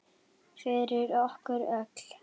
Fyrir okkur öll.